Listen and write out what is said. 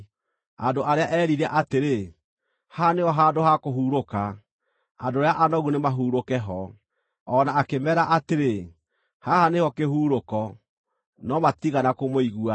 andũ arĩa eerire atĩrĩ, “Haha nĩho handũ ha kũhurũka, andũ arĩa anogu nĩmahurũke ho”; o na akĩmeera atĩrĩ, “Haha nĩho kĩhurũko”; no matiigana kũmũigua.